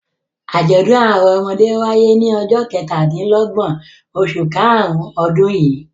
Àjọ̀dún àwọn ọmọdé wáyé ní ọjọ́ kẹtàdínlọ́gbọ̀n oṣù karùn-ún ọdún yìí.